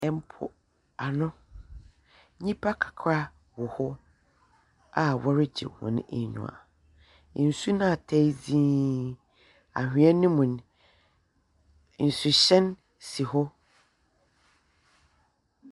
Mpoano, nyimpa kakra wɔ hɔ a wɔregye hɔn enyiwa. Nsu no atae dzinn. Anhwa no mu no, nsukyɛn si hɔ.